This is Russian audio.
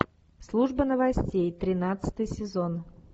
служба новостей тринадцатый сезон